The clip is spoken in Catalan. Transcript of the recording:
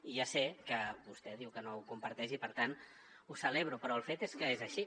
i ja sé que vostè diu que no ho comparteix i per tant ho celebro però el fet és que és així